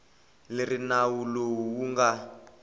leri nawu lowu wu nga